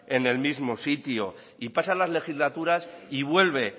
en el mismo sitio y pasan las legislaturas y vuelve